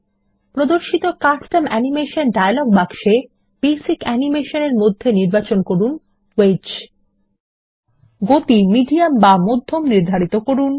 প্রদর্শিত custom animation dialog বাক্সে basic animation এর মধ্যে নির্বাচন করুন ওয়েজ গতি মিডিয়াম বা মধ্যম নির্ধারিত করুন